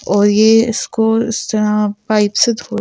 और ये इसको इस तरह पाइप से--